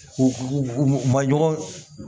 U ma ɲɔgɔn